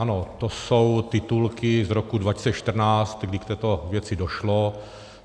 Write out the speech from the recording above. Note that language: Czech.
Ano, to jsou titulky z roku 2014, kdy k této věci došlo.